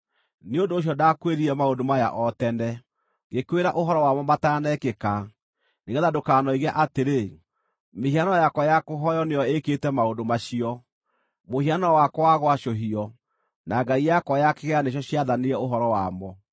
Nĩ ũndũ ũcio ndakwĩrire maũndũ maya o tene; ngĩkwĩra ũhoro wamo mataanekĩka, nĩgeetha ndũkanoige atĩrĩ, ‘Mĩhianano yakwa ya kũhooywo nĩyo ĩĩkĩte maũndũ macio; mũhianano wakwa wa gwacũhio, na ngai yakwa ya kĩgera nĩcio ciathanire ũhoro wamo.’